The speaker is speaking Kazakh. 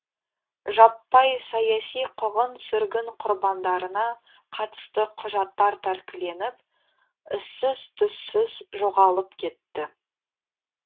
жаппай саяси қуғын сүргін құрбандарына қатысты құжаттар тәркіленіп ізсіз түзсіз жоғалып кетті